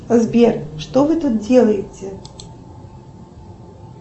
сбер что вы тут делаете